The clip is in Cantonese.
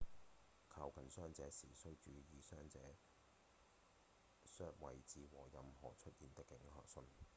靠近傷者時須注意傷者位置和任何出現的警訊